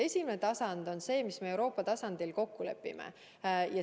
Esimene on see, mille me Euroopa tasandil kokku lepime.